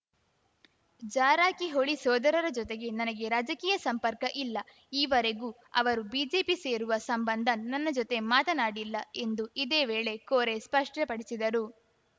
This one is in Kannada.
ಜಾರಕಿಹೊಳಿ ಸೋದರರ ಜೊತೆಗೆ ನನಗೆ ರಾಜಕೀಯ ಸಂಪರ್ಕ ಇಲ್ಲ ಈವರೆಗೂ ಅವರು ಬಿಜೆಪಿ ಸೇರುವ ಸಂಬಂಧ ನನ್ನ ಜೊತೆ ಮಾತನಾಡಿಲ್ಲ ಎಂದು ಇದೇ ವೇಳೆ ಕೋರೆ ಸ್ಪಷ್ಟಪಡಿಸಿದರು